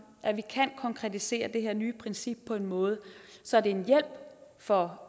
at vi kan konkretisere det her nye princip på en måde så det er en hjælp for